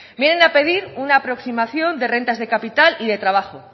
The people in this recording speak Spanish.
vienen a pedir una aproximación de rentas de capital y de trabajo